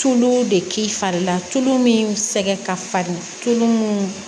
Tulu de k'i fari la tulu min sɛgɛn ka farin tulu munnu